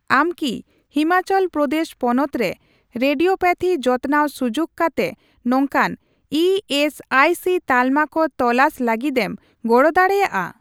ᱟᱢ ᱠᱤ ᱦᱤᱢᱟᱪᱚᱞ ᱯᱨᱚᱫᱮᱥ ᱯᱚᱱᱚᱛ ᱨᱮ ᱨᱮᱰᱤᱭᱳᱛᱷᱮᱨᱟᱯᱤ ᱡᱚᱛᱱᱟᱣ ᱥᱩᱡᱩᱠ ᱠᱟᱛᱮ ᱱᱚᱝᱠᱟᱱ ᱤ ᱮᱥ ᱟᱭ ᱥᱤ ᱛᱟᱞᱢᱟ ᱠᱚ ᱛᱚᱞᱟᱥ ᱞᱟᱹᱜᱤᱫᱮᱢ ᱜᱚᱲᱚ ᱫᱟᱲᱮᱭᱟᱜᱼᱟ ᱾